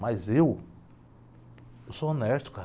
Mas eu, eu sou honesto, cara.